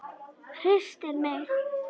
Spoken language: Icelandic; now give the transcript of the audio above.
Hristir mig.